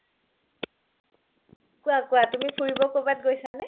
কুৱা কুৱা তুমি ফুৰিব কৰবাত গৈছা নে ?